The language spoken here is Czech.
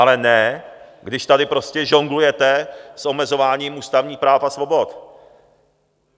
Ale ne když tady prostě žonglujete s omezováním ústavních práv a svobod.